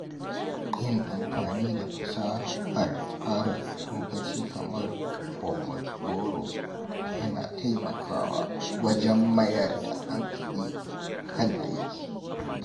Yin amfani da fasahar tsara lokaci kamar Pomodoro yana taimakawa wajen mayar da hankali kan aiki.